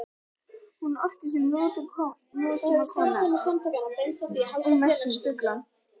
Hún orti sem nútímakona og mest um fugla.